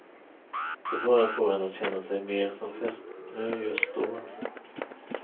Det bara får en att känna sig mer som fästmö just då.